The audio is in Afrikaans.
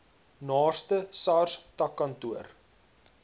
naaste sars takkantoor